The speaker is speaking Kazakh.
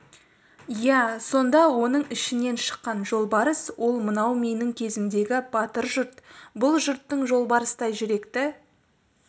иә сонда оның ішінен шыққан жолбарыс ол мынау менің кезімдегі батыр жұрт бұл жұрттың жолбарыстай жүректі